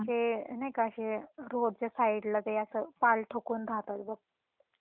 ते नाही का अशे रोड च्या सइडला ते अस ताल ठोकून राहतात बघ